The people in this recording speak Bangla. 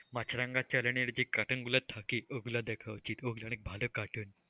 মাছরাঙ্গা channel এর যে cartoon গুলো থাকে ওগুলো দেখা উচিত, ওগুলো অনেক ভালো cartoon,